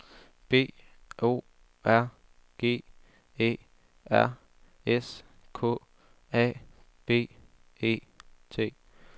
B O R G E R S K A B E T